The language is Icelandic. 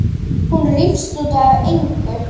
Hún rífst út af engu.